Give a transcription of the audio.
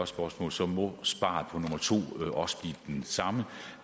spørgsmål så må svaret på nummer to også blive det samme